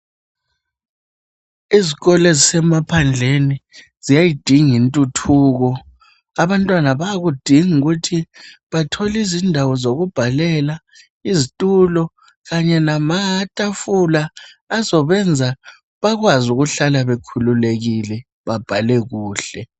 Izikolo ezisemaphandleni ziyayidinga intuthuko. Abantwana bayakudinga ukuthi bathole izindawo zokubhalela, izitulo kanye namatafula azobenza bakwazi ukuhlala bekhululekile babhale kuhle.